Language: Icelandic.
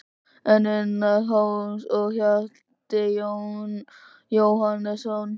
En Unnar Hólm og Hjalti Jóhannesson?